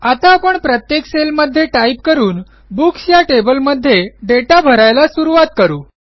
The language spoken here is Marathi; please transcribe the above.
आता आपण प्रत्येक सेलमध्ये टाईप करून बुक्स या टेबलमध्ये दाता भरायला सुरूवात करू